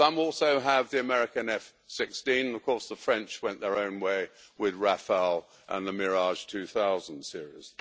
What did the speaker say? Some also have the American F 16, of course, and the French went their own way with Rafael and the Mirage 2000 series.